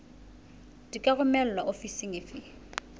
di ka romelwa ofising efe